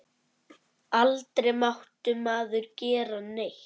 Aldrei mátti maður gera neitt.